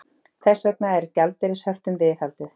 Þess vegna er gjaldeyrishöftum viðhaldið